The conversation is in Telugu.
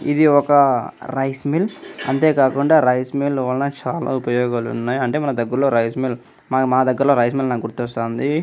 ఇది ఒక రైస్ మిల్ అంతేకాకుండా రైస్ మిల్ వలన చాల ఉపయోగాలు ఉన్నాయ్ అంటే మన దేగ్గర్లో రైస్ మిల్ మా దేగ్గర్లో రైస్ మిల్ నాకు గుర్తొస్తుంది--